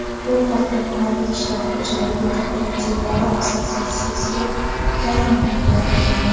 Bu haqda mahalliy qishloq xo‘jaligi kooperativlari assotsiatsiyasiga tayanib xabar berilgan.